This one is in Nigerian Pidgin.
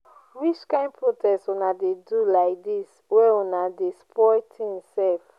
which kind protest una dey do lai dis wey una dey spoil tins sef.